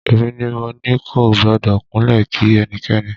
Èmi ni mo ní kò gbọ́dọ̀ kúnlẹ̀ kí ẹnikẹ́ni.